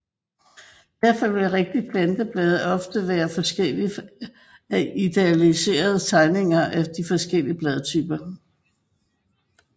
Derfor vil rigtige planteblade ofte være forskellige fra idealiserede tegninger af de forskellige bladtyper